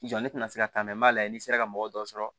ne tɛna se ka taa n bɛ na n'i sera ka mɔgɔ dɔ sɔrɔ